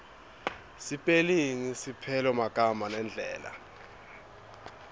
sipelingi lupelomagama nendlela